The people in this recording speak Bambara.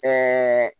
Ɛɛ